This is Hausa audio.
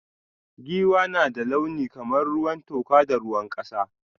Giwa na da launi kamar ruwan toka da ruwan kasa.